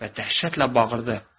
Və dəhşətlə bağırdı.